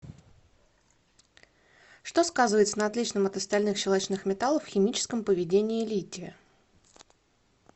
что сказывается на отличном от остальных щелочных металлов химическом поведении лития